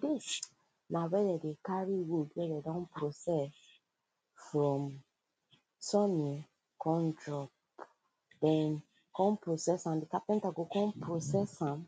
this na wey dem dey carry wood wey dem don process from sunning come drop then come process am the carpenter go come process am